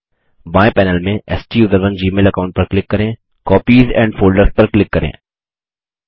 बायें पैनल में स्टूसरोन जीमेल अकाऊंट पर क्लिक करें कॉपीज और फोल्डर्स पर क्लिक करें